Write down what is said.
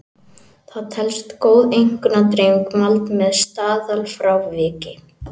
Það telst góð einkunnadreifing mæld með staðalfráviki.